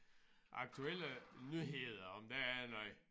Aktuelle nyheder om der er noget